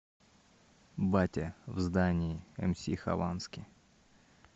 батя в здании мс хованский